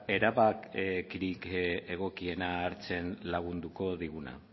erabakirik egokienak hartzen lagunduko diguna